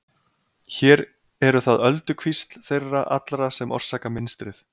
hér eru það ölduvíxl þeirra allra sem orsaka mynstrið